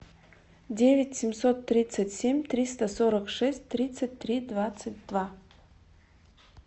девять семьсот тридцать семь триста сорок шесть тридцать три двадцать два